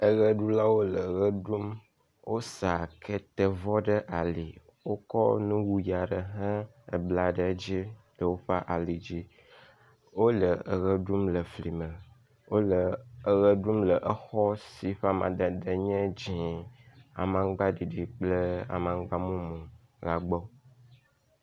Eɣeɖulawo le ɣeɖum, wosa ketevɔ ɖe ali, wokɔ lowuyi aɖe hã bla ɖe dzi le woƒe alidzi. Wole eɣeɖum le flime wole eɣeɖum le exɔ si ƒe amadede nye dzẽ, amaŋgbaɖiɖi kple amaŋgbamumu la gbɔ.